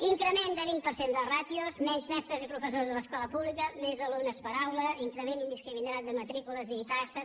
increment de vint per cent de ràtios menys mestres i professors a l’escola pública més alumnes per aula increment indiscriminat de matrícules i taxes